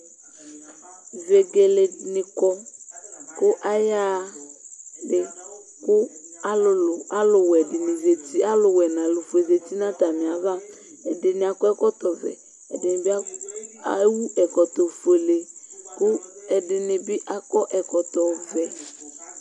vegelenɩ kɔ, kʊ ayaɣa une, kʊ alʊwɛ nʊ alʊfue zati nʊ atami ava, ɛdɩnɩ akɔ ɛkɔtɔ vɛ, ɛdɩnɩcɛkɔtɔ ofuele,